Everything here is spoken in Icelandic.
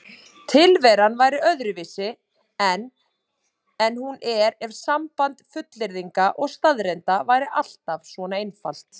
Tilveran væri öðruvísi en hún er ef samband fullyrðinga og staðreynda væri alltaf svona einfalt.